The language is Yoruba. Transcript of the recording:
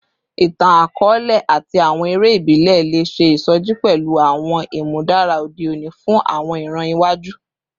Itan-akọọlẹ ati awọn ere ibile le ṣe isoji pẹlu awọn imudara ode oni fun awọn iran iwaju